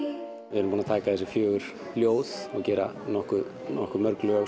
við erum búin að taka þessi fjögur ljóð og gera nokkuð nokkuð mörg lög